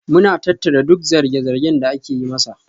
Muna tattara duk zarge-zargen da ake yi masa.